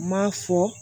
M'a fɔ